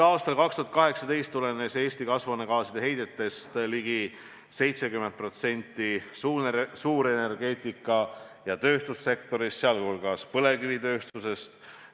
Aastal 2018 tuli Eesti kasvuhoonegaaside heitest ligi 70% suurenergeetika ja tööstussektorist, sh põlevkivitööstusest.